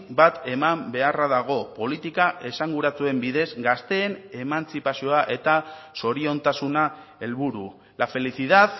bat eman beharra dago politika esanguratsuen bidez gazteen emantzipazioa eta zoriontasuna helburu la felicidad